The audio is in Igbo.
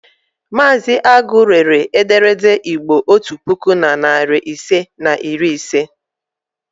Mazị Agu rere ederede Igbo otu puku na narị ise na iri ise.